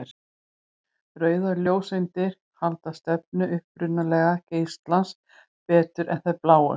Rauðar ljóseindir halda stefnu upprunalega geislans betur en þær bláu.